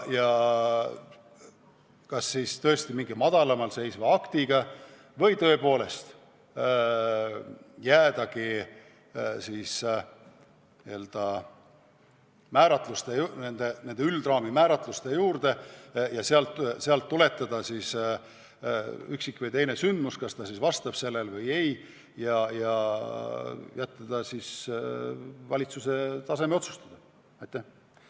Kas võiks olla vaja mingit madalamal seisvat akti või tuleks jääda nende üldraamistiku määratluste juurde ja sealt tuletada, kas üks või teine sündmus vastab nendele tingimustele, ja jätta see valitsuse tasemel otsustada?